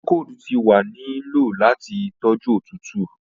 Procold ti wa ni lo lati toju otutu.